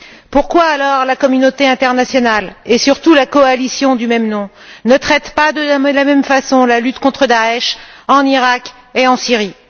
Pourquoi alors la communauté internationale, et surtout la coalition du même nom, ne traite t elle pas de la même façon la lutte contre Daïch en Iraq et en Syrie?